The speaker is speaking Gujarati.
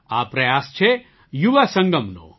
આ પ્રયાસ છે યુવા સંગમનો